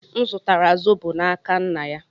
M zụtara zobo n'aka nna ya.